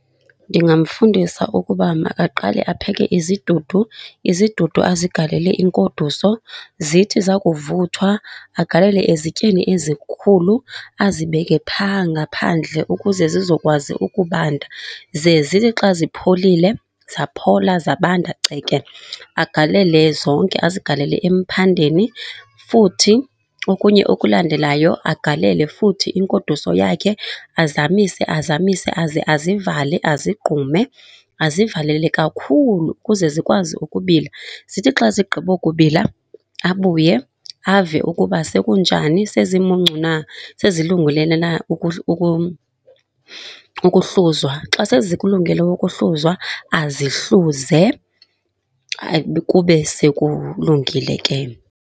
Ndingamfundisa ukuba makaqale apheke izidudu, izidudu azigalele inkoduso. Zithi zakuvuthwa agalele ezityeni ezikhulu, azibeke phaa ngaphandle ukuze zizokwazi ukubanda. Ze zithi xa zipholile, zaphola zabanda ceke, agalele zonke, azigalele emphandeni. Futhi okunye okulandelayo agalele futhi inkoduso yakhe azamise. Azamise aze azivale azigqume. Azivalele kakhulu ukuze zikwazi ukubila. Zithi xa zigqibo kubila abuye ave ukuba sekunjani, sezimuncu na, sezilungelene na ukuhluzwa. Xa sezikulungele ukuhluzwa, azihluze. Kube sekulungile ke.